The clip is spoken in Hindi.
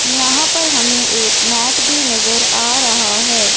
यहां पर हमें एक मैट भी नजर आ रहा है।